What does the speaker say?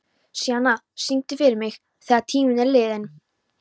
Sjana, syngdu fyrir mig „Þegar tíminn er liðinn“.